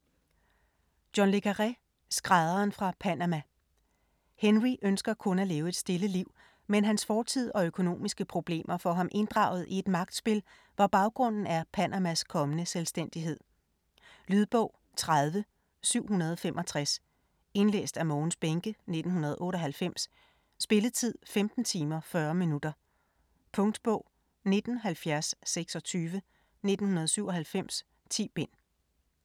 Le Carré, John: Skrædderen fra Panama Henry ønsker kun at leve et stille liv, men hans fortid og økonomiske problemer får ham inddraget i et magtspil, hvor baggrunden er Panamas kommende selvstændighed. Lydbog 30765 Indlæst af Mogens Bähncke, 1998. Spilletid: 15 timer, 40 minutter. Punktbog 197026 1997. 10 bind.